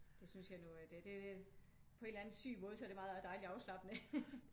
Det synes jeg nu det på en eller anden syg måde så er det dejlig afslappende